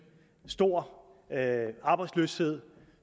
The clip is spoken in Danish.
stor arbejdsløshed